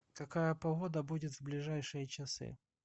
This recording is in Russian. какая погода будет в ближайшие часы